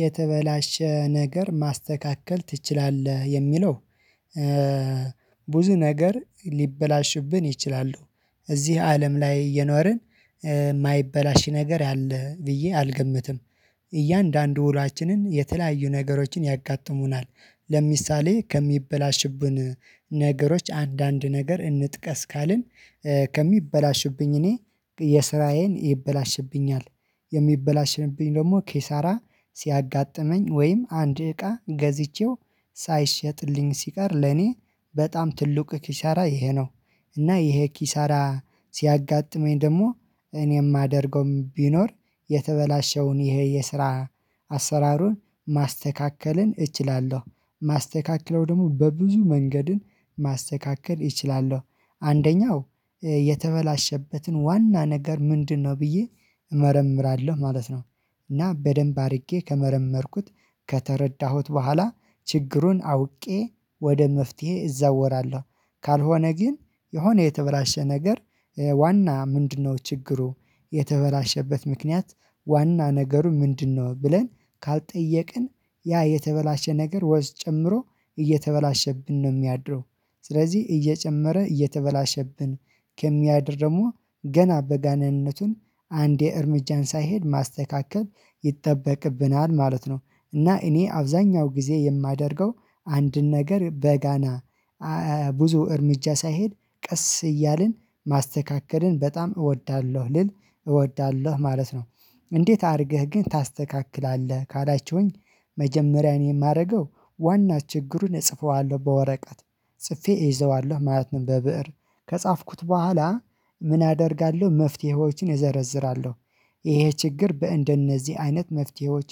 የተበላሸ ነገር ማስተካከል ትችላለህ የሚለው? ብዙ ነገር ሊበላሽብን ይችላሉ እዚህ አለም ላይ የኖርን የማይበላሽ ነገር አለ ብዬ አልገምትም። እያንዳንዱ ውሏችንን የተለያዩ ነገሮችን ያጋጥሙናል። ለምሳሌ ከሚበላሽብን ነገሮች አንዳንድ ነገር እንጥቀስ ካልን ከሚበላሽብኝ እኔ የስራዬን ይበላሽብኛል የሚበላሽንብኝ ደግሞ ኬሳራ ሲያጋጥመኝ ወይም አንድ እቃ ገዝቼው ሳይሸጥልኝ ሲቀር ለኔ በጣም ትልቅ ኪሻራ ይሄ ነው። እና ይሄ ኪሳራ ሲያጋጥመኝ ደግሞ እኔ የማደርገው ቢኖር የተበላሸውን ይሄ የስራ አሰራሩን ማስተካከልን እችላለሁ ማስተካከለው ደግሞ በብዙ መንገድን ማስተካከል ይችላለው አንደኛው የተበላሸበትን ዋና ነገር ምንድነው ብዬ እመረምራለሁ ማለት ነው። እና በደንብ አድርጌ ከመረመርኩት ከተረዳሁት በኋላ ችግሩን አውቄ ወደ መፍትሄ እዛወራለሁ ካልሆነ ግን የሆነ የተበላሸ ነገር ዋና ምንድነው ችግሩ የተበላሸበት ምክንያት ዋና ነገሩ ምንድነው? ብለን ካልጠየቅን ያ የተበላሸ ነገር ወዝ ጨምሮ እየተበላሸብን ነው የሚያድረው ስለዚህ እየጨመረ እየተበላሸብን ከሚያድር ደግሞ ገና በጋናነቱን አንድ እርምጃን ሳይሄድ ማስተካከል ይጠበቅብናል ማለት ነው። እና እኔ አብዛኛው ጊዜ የማደርገው አንድን ነገር በጋና ብዙ እርምጃ ሳይሄድ ቀስ እያልን ማስተካከልን በጣም እወዳለሁ ልል እወዳለሁ ማለት ነው። እንዴት አድርገህ ግን ታስተካክላለህ ካላችሁኝ? መጀመሪያ እኔ የማደርገው ዋና ችግሩን እጽፈዋለሁ በወረቀት ጽፌ እይዘዋለሁ ማለት ነው። በብእር ከጻፍኩት በኋላ ምን አደርጋለሁ መፍትሄዎችን እዘረዝራለሁ። ይሄ ችግር በእንደነዚህ አይነት መፍትሄዎች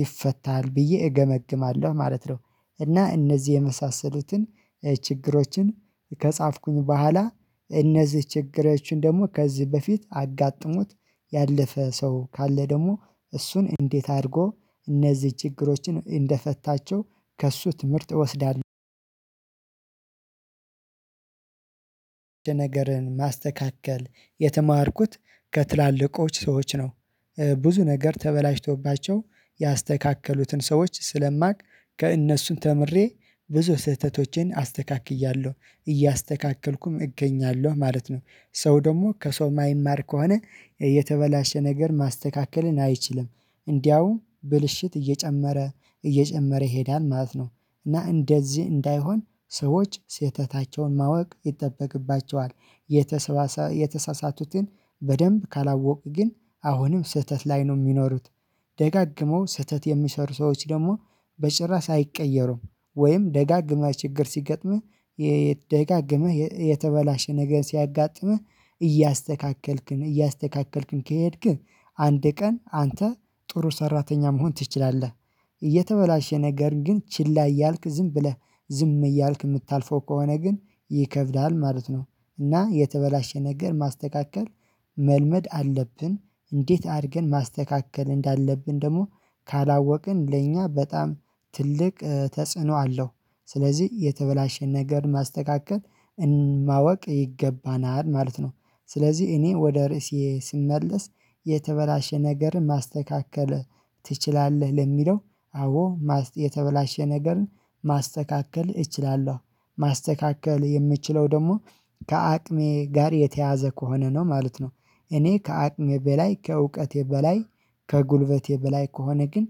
ይፈታል ብዬ እገመግማለሁ ማለት ነው። እና እነዚህ የመሳሰሉትን ችግሮችን ከጻፍኩኝ በኋላ እነዚህ ችግሮችን ደግሞ ከዚህ በፊት አጋጥሞት ያለፈ ሰው ካለ ደግሞ እሱን እንዴት አድርጎ እነዚህ ችግሮችን እንደፈታቸው ከእሱ ትምህርት እወስዳለሁ። የተማርኩት ከትላልቆች ሰዎች ነው። ብዙ ነገር ተበላሽቶባቸው ያስተካከሉትን ሰዎች ስለማውቅ ከእነሱን ተምሬ ብዙ ስህተቶቼን አስተካክያለሁ እያስተካከልኩም እገኛለሁ ማለት ነው። ሰው ደግሞ ከሰው ማይማር ከሆነ የተበላሸ ነገር ማስተካከልን አይችልም። እንዲያውም ብልሽት እየጨመረ እየጨመረ ይሄዳል ማለት ነው። እና እንደዚህ እንዳይሆን ሰዎች ስህተታቸውን ማወቅ ይጠበቅባቸዋል። የተሳሳቱትን በደንብ ካላወቁ ግን አሁንም ስህተት ላይ ነው የሚኖሩት። ደጋግመው ስህተት የሚሰሩ ሰዎች ደግሞ በጭራ ሳይቀየሩም ወይም ደጋግመህ ችግር ሲገጥምህ የተደጋገመህ የተበላሸ ነገር ሲያጋጥምህ እያስተካከልክ እያስተካከልክም ከሄድክ አንድ ቀን አንተ ጥሩ ሰራተኛ መሆን ትችላለህ። እየተበላሸ ነገር ግን ችላ እያልክ ዝም ብለህ ዝም እያልክ የምታልፈው ከሆነ ግን ይከብዳል ማለት ነው። እና የተበላሸ ነገር ማስተካከል መልመድ አለብን። እንዴት አድርገን ማስተካከል እንዳለብን ደግሞ ካላወቅን ለእኛ በጣም ትልቅ ተጽዕኖ አለው። ስለዚህ የተበላሸን ነገር ማስተካከል ማወቅ ይገባናል ማለት ነው። ስለዚህ እኔ ወደ ርዕሴ ስመለስ የተበላሸ ነገርን ማስተካከል ትችላለህ ለሚለው? አዎ የተበላሸ ነገርን ማስተካከል እችላለሁ። ማስተካከል የምችለው ደግሞ ከአቅሜ ጋር የተያያዘ ከሆነ ነው ማለት ነው። እኔ ከአቅም በላይ ከእውቀቴ በላይ ከጉልበቴ በላይ ከሆነ ግን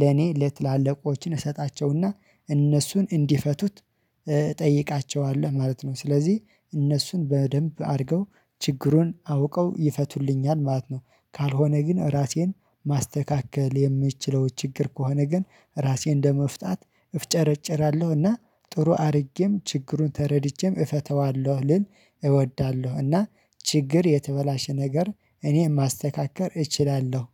ለኔ ለትላልቆችን እሰጣቸውና እነሱን እንዲፈቱት እጠይቃቸዋለሁ ማለት ነው። ስለዚህ እነሱን በደንብ አድርገው ችግሩን አውቀው ይፈቱልኛል ማለት ነው። ካልሆነ ግን ራሴን ማስተካከል የምችለው ችግር ከሆነ ግን ራሴው እንደመፍታት እፍጨረጨራለሁና ጥሩ አድርጌም ችግሩን ተረድጄም እፈተዋለሁ ልል እወዳለሁና ችግር የተበላሸ ነገር እኔ ማስተካከር እችላለሁ።